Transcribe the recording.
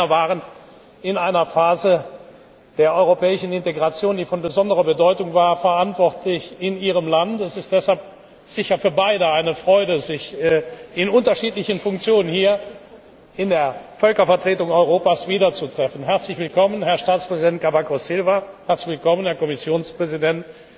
Beide Männer waren in einer Phase der europäischen Integration, die von besonderer Bedeutung war, verantwortlich in Ihrem Land. Es ist deshalb sicher für beide eine Freude, sich in unterschiedlichen Funktionen hier in der Völkervertretung Europas wieder zu treffen. Herzlich willkommen, Herr Staatspräsident Cavaco Silva! Herzlich willkommen, Herr Kommissionspräsident.